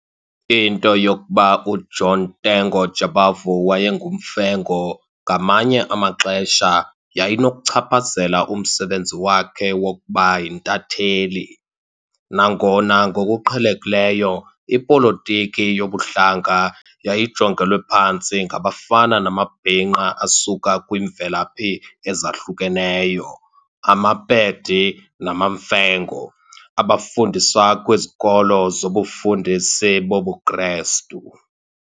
Into yokuba uJohn Tengo Jabavu wayenguMfengu ngamanye amaxesha yayinokuchaphazela umsebenzi wakhe wokuba yintatheli, nangona ngokuqhelekileyo, ipolitiki yobuhlanga yayijongelwe phantsi ngabafana namabhinqa asuka kwiimvelaphi ezahlukeneyo, amaPedi, namaMfengu, abafundiswa kwizikolo zobufundisi bobuKrestu.